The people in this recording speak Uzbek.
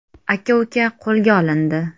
Aka-uka qo‘lga olindi.